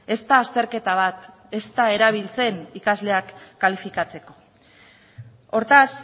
ez da azterketa bat ez da erabiltzen ikasleak kalifikatzeko hortaz